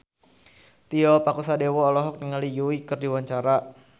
Tio Pakusadewo olohok ningali Yui keur diwawancara